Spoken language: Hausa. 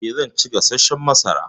Eh, zan ci gasashshan masara.